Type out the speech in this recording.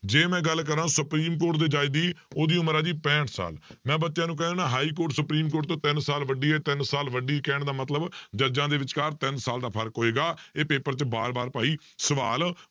ਜੇ ਮੈਂ ਗੱਲ ਕਰਾਂਂ ਸੁਪਰੀਮ ਕੋਰਟ ਦੇ ਜੱਜ ਦੀ ਉਹਦੀ ਉਮਰ ਆ ਜੀ ਪੈਂਹਠ ਸਾਲ, ਮੈਂ ਬੱਚਿਆਂ ਨੂੰ ਕਹਿ ਦਿੰਦਾ ਹਾਈਕੋਰਟ ਸੁਪਰੀਮ ਕੋਰਟ ਤੋਂ ਤਿੰਨ ਸਾਲ ਵੱਡੀ ਹੈ ਤਿੰਨ ਸਾਲ ਵੱਡੀ ਕਹਿਣ ਦਾ ਮਤਲਬ ਜੱਜਾਂ ਦੇ ਵਿਚਕਾਰ ਤਿੰਨ ਸਾਲ ਦਾ ਫ਼ਰਕ ਹੋਏਗਾ, ਇਹ paper 'ਚ ਵਾਰ ਵਾਰ ਭਾਈ ਸਵਾਲ